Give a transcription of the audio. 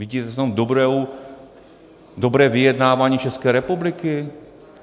Vidíte v tom dobré vyjednávání České republiky?